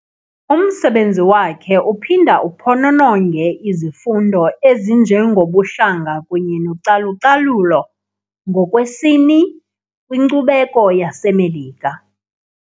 Umsebenzi wakhe uphinda uphonononge izifundo ezinjengobuhlanga kunye nocalucalulo ngokwesini kwinkcubeko yaseMelika.